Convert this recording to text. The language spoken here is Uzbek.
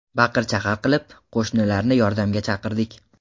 Baqir-chaqir qilib, qo‘shnilarni yordamga chaqirdik.